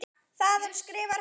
Þaðan skrifar hann